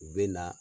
U bɛ na